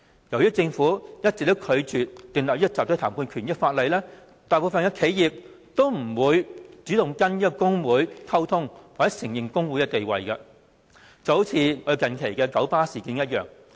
由於政府一直拒絕訂立集體談判權的法例，大部分企業也不會主動跟工會溝通或承認工會的地位，近期的九巴事件正是一例。